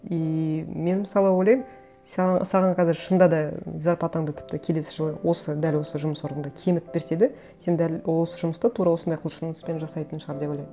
иии мен мысалы ойлаймын саған қазір шынында да зарплатаңды тіпті келесі жылы осы дәл осы жұмыс орныңда кемітіп берсе де сен дәл осы жұмысты тура осындай құлшыныспен жасайтын шығар деп ойлаймын